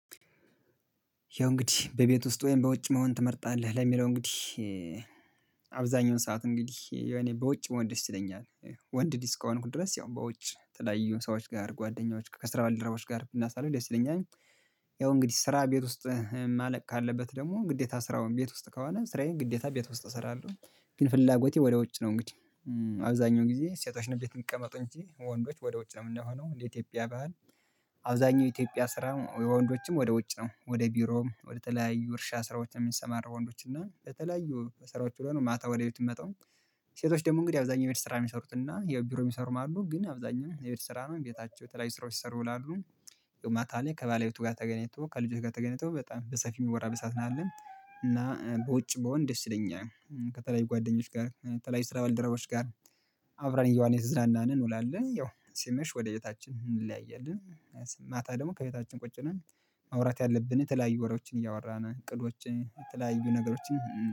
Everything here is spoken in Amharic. ያው እንግዲህ በቤት ውስጥ ወይም በውጭ መሆን ትመርጣለህ ለሚለው እንግዲህ አብዛኛውን ሰዓት እንግዲህ እኔ በውጭ መሆን ይስ ይለኛል። ወንድ ልጅ እስከሆንኩ ድረስ ያው በውጭ የተለያዩ ሰዎች ጋር ጓደኞች ከስራ ባልደረባዎች ጋር ብናሳልፍ ደስ ይለኛል። ያው እንግዲህ ስራ ቤት ውስጥ ማለቅ ካለበት ደግሞ ግዴታ ስራውን ቤት ውስጥ ከሆነ ስራዬን ግዴታ ቤት ውስጥ እሰራለሁ ግን ፍላጎቴ ወደ ውጭ ነው። እንግዲህ አብዛኛው ጊዜ ሴቶች እቤት እሚቀመጡ እንጂ ወንዶች ወደ ውጭ ነው የምንሆነው እንደ ኢትዮጵያ ባህል። አብዛኛው ኢትዮጵያ ስራ ወንዶችም ወደ ውጭ ነው ወደ ቢሮም ወደ ተለያዩ እርሻ ስራዎች የሚሰማሩ ወንዶች እና የተለያዩ ስራዎች ዉሎ ነው ማታ ወደቤቱ የምመጣው። ሴቶች ደግሞ እንግዲህ አብዛኛው የቤት ስራ የሚሰሩትና የቢሮ የሚሰሩም አሉ ግን አብዛኛው የቤት ስራ ነው ቤታቸው የተለያዩ ስራዎች ሲሰሩ ይዉላሉ። ማታ ላይ ከባለቤቱ ጋር ተገናኝቶ ከልጆቹ ጋር ተገናኝቶ በጣም በሰፊው የሚወራበት ሰዓት ነው የለው እና በውጭ ብሆን ደስ ይለኛል። ከተለያዩ ጓደኞች ጋር ከተለያዩ ስራ ባልደረቦች ጋር። አብረን እየዋልን እየተዝናናን እንውላለን ያው ሲመሽ ወደ ቤታችን እንለያያለን። ማታ ደግሞ ከቤታችን ቁጭ ነን። ማውራት ያለብን የተለያዩ ወሬዎችን እያወራን እቅዶችን የተለያዩ ነገሮችን